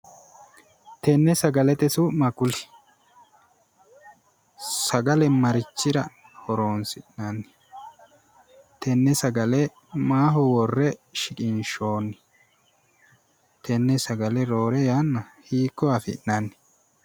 tenne sagalete su'ma kuli? sagale marichira horonsi'nanni? tenne sagale maaho worre shiqinshoonni? tenne sagale roore yanna hiikko afi'nanni?